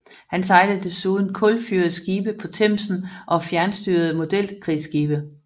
Han sejlede desuden kulfyrede skibe på Themsen og fjernstyrede modelkrigsskibe